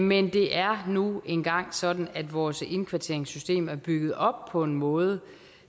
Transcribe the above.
men det er nu engang sådan at vores indkvarteringssystem er bygget op på den måde